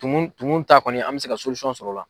Tumu tumu ta kɔni an mɛ se ka sɔrɔ o la.